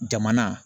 Jamana